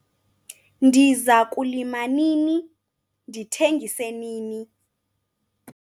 Ndiza kulima nini, ndithengise nini?